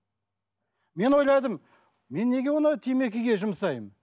мен ойладым мен неге оны темекіге жұмсаймын